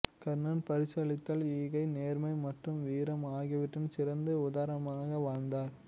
கர்ணன் பரிசளித்தல் ஈகை நேர்மை மற்றும் வீரம் ஆகியவற்றின் சிறந்த உதாரணமாக வாழ்ந்தார்